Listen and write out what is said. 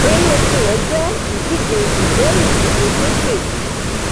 ẹré tirẹ jẹ ìdíje ìgbẹrùwíwo sókè